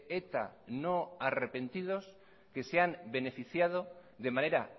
eta no arrepentidos que se han beneficiado de manera